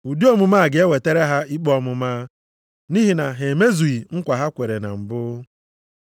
Ụdị omume a ga-ewetara ha ikpe ọmụma, nʼihi na ha emezughị nkwa ha kwere na mbụ.